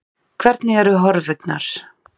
Hvernig eru horfurnar?